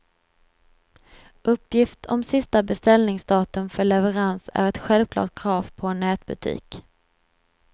Uppgift om sista beställningsdatum för leverans är ett självklart krav på en nätbutik.